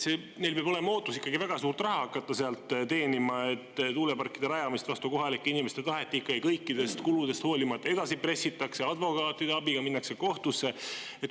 Neil peab olema ootus ikkagi väga suurt raha hakata sealt teenima, et tuuleparkide rajamist vastu kohalike inimeste tahet ikkagi kõikidest kuludest hoolimata edasi pressitakse, advokaatide abiga minnakse kohtusse.